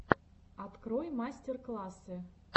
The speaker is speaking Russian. открой мастер классы